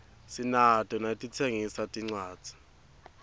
sinato naletitsengisa tincwadzi